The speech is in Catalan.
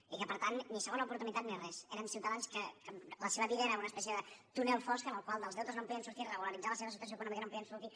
i que per tant ni segona oportunitat ni res eren ciutadans que la seva vida era una espècie de túnel fosc en el qual dels deutes no en podien sortir de regularitzar la seva situació econòmica no en podien sortir